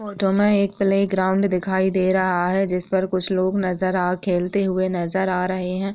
Photo में एक playground दिखाई दे रहा है जिस पर कुछ लोग नजर आ खेलते हुए नजर आ रहे हैं।